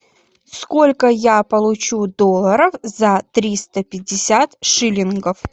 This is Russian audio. сколько я получу долларов за триста пятьдесят шиллингов